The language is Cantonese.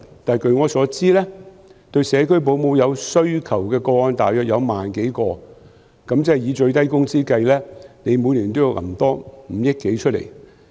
但據我所知，需要社區保姆的個案大約1萬多宗，以最低工資計算，每年要多撥款5億多元。